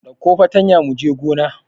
Ɗauko fatanya mu je gona!